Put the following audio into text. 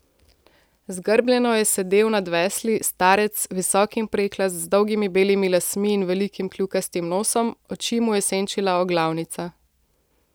Zgrbljeno je sedel nad vesli, starec, visok in preklast z dolgimi belimi lasmi in velikim kljukastim nosom, oči mu je senčila oglavnica.